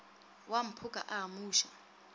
wa mphoka a a amuše